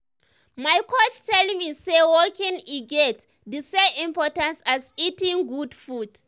my coach tell me say walking e get the same importance as eating good food.